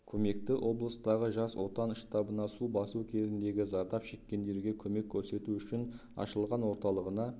көмекті облыстағы жас отан штабына су басу кезіндегі зардап шеккендерге көмек көрсету үшін ашылған орталығына